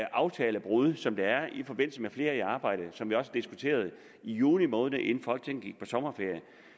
aftalebrud som er sket i forbindelse med flere i arbejde som vi også diskuterede i juni måned inden folketinget gik på sommerferie